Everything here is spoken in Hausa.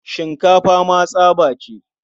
Shinkafa ma tsaba ce.